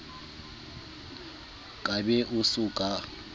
ka be o sa ka